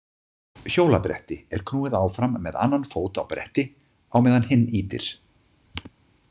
Hjólabretti er knúið áfram með annan fót á bretti á meðan hinn ýtir.